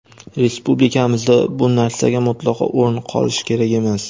Respublikamizda bu narsaga mutlaqo o‘rin qolishi kerak emas.